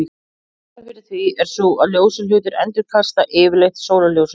Ástæðan fyrir því er sú að ljósir hlutir endurkasta yfirleitt sólarljósinu.